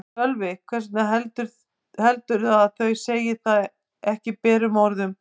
Sölvi: Hvers vegna heldurðu að þau segi það ekki berum orðum?